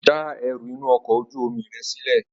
Já ẹrú inú ọkọ̀ ojú omi rẹ sílè!